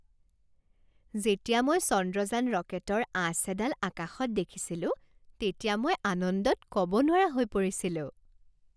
যেতিয়া মই চন্দ্ৰযান ৰকেটৰ আঁচ এডাল আকাশত দেখিছিলোঁ তেতিয়া মই আনন্দত ক'ব নোৱাৰা হৈ পৰিছিলোঁ।